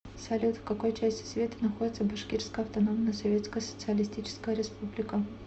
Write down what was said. салют в какой части света находится башкирская автономная советская социалистическая республика